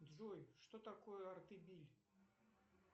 джой что такое артебиль